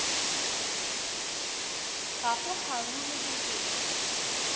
ga go kgaruru ke eng